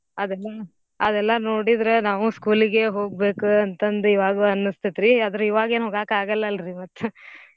ಅದ್ ಅದೆಲ್ಲಾ ನೋಡಿದ್ರ ನಾವು school ಗೆ ಹೋಗ್ಬೇಕ ಅಂತಂದ್ ಈವಾಗೂ ಅನ್ನಸ್ತೇತ್ರೀ ಅದ್ರ್ ಇವಗೇನ್ ಹೋಗಾಕ್ಕ ಅಗಲ್ಲಲ್ರೀ ಮತ್ತ್ .